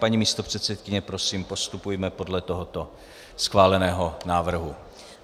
Paní místopředsedkyně, prosím, postupujme podle tohoto schváleného návrhu.